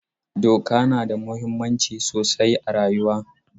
Doka na da muhimmanci sosai a rayuwa.